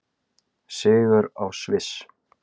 Sigur á Sviss